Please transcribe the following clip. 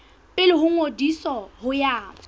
pele ho ngodiso ho ya